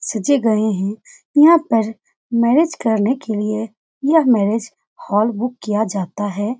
सजे गए हैं यहाँ पर मैरेज करने के लिए यह मैरेज हॉल बुक किया जाता है।